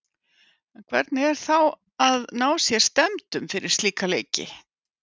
En hvernig er þá að ná sér stemmdum fyrir slíka leiki?